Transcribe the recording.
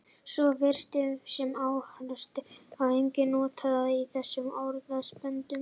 Svo virðist sem hástertur sé einungis notað í þessum orðasamböndum.